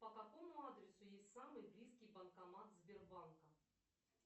по какому адресу есть самый близкий банкомат сбербанка